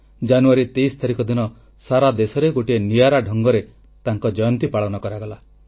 ଜାନୁୟାରୀ 23 ତାରିଖ ଦିନ ସାରା ଦେଶରେ ଗୋଟିଏ ନିଆରା ଢଙ୍ଗରେ ତାଙ୍କ ଜୟନ୍ତୀ ପାଳନ କରାଗଲା